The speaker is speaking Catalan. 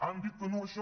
han dit que no a això